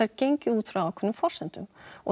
gengið út frá ákveðnum forsendum og